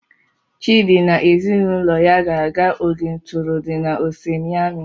Chidi na ezinaụlọ ga-aga oge ntụrụndụ na Ose Miami.